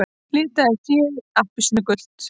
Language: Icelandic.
Litaði féð appelsínugult